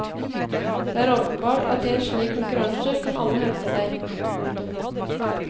Det er åpenbart at i en slik konkurranse kan alle hevde seg. punktum